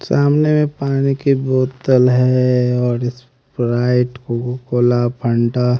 सामने पानी की बोतल है और स्प्राइट कोका कोला फंटा --